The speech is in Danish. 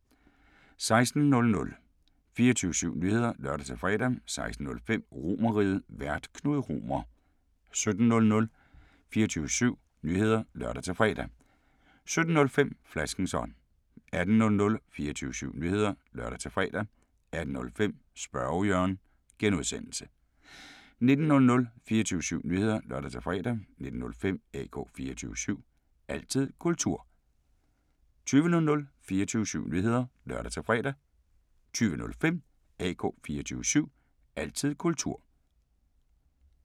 16:00: 24syv Nyheder (lør-fre) 16:05: RomerRiget, Vært: Knud Romer 17:00: 24syv Nyheder (lør-fre) 17:05: Flaskens ånd 18:00: 24syv Nyheder (lør-fre) 18:05: Spørge Jørgen (G) 19:00: 24syv Nyheder (lør-fre) 19:05: AK 24syv – altid kultur 20:00: 24syv Nyheder (lør-fre) 20:05: AK 24syv – altid kultur